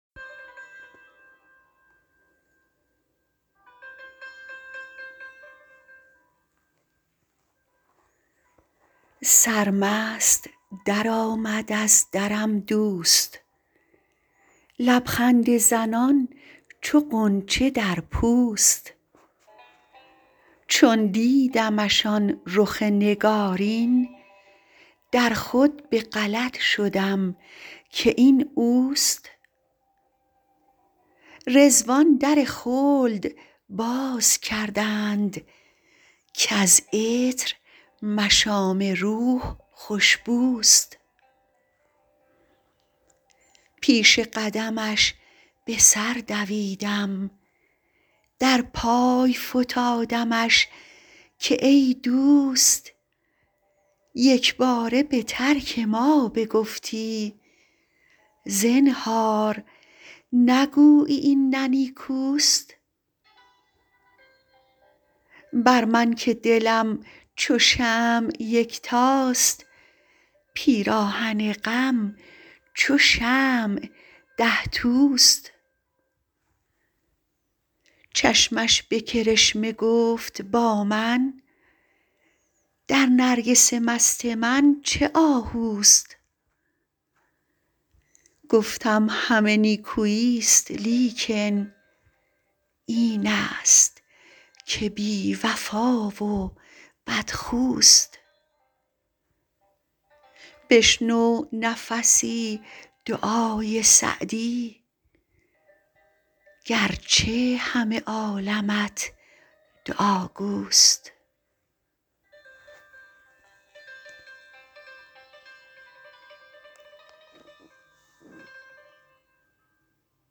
سرمست درآمد از درم دوست لب خنده زنان چو غنچه در پوست چون دیدمش آن رخ نگارین در خود به غلط شدم که این اوست رضوان در خلد باز کردند کز عطر مشام روح خوش بوست پیش قدمش به سر دویدم در پای فتادمش که ای دوست یک باره به ترک ما بگفتی زنهار نگویی این نه نیکوست بر من که دلم چو شمع یکتاست پیراهن غم چو شمع ده توست چشمش به کرشمه گفت با من در نرگس مست من چه آهوست گفتم همه نیکویی ست لیکن این است که بی وفا و بدخوست بشنو نفسی دعای سعدی گر چه همه عالمت دعاگوست